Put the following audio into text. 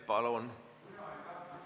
Palun!